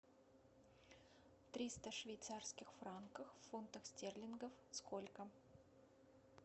триста швейцарских франков в фунтах стерлингов сколько